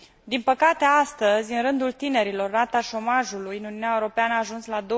Din păcate, astăzi, în rândul tinerilor, rata șomajului în Uniunea Europeană a ajuns la